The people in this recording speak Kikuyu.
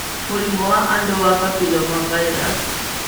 Mũrimũ wa andũ wa papillomavirus.